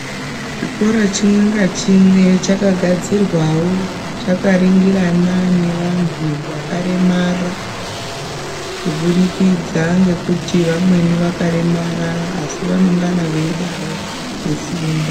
Chikora chimwe ngachimwe chakagadzirwawo chakaringirana nevantu vakaremara, kuburikidza ngekuti vamweni vakaremara asi vanengana veidavo kufunda.